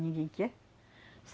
Ninguém quer.